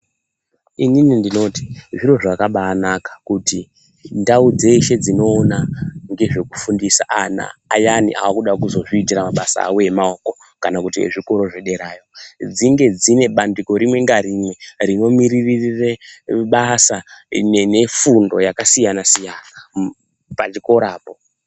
Inini ndinoti zviro zvakabanaka kuti ndau dzeshe dzinoona ndezve kufundisa ana ayani arikuda kuzviitira mabasa awo emaoko kana kuti ezvikoro zvepadera dzinge dzine bandiko rimwe narimwe rinomirira basa nefundo yakasiyana-siyana pachikorapo.